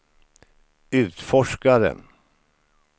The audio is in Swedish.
utforskare